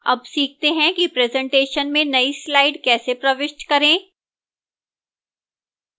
अब सीखते हैं कि presentation में now slide कैसे प्रविष्ट करें